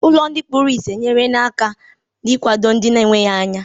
Ụlọ ndị kpuru ìsì enyerela aka n'ịkwado ndị na-enweghi anya.